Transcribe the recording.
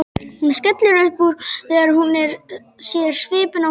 Hún skellir upp úr þegar hún sér svipinn á honum.